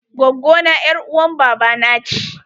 Gwaggo na ƴar uwar baba na ce.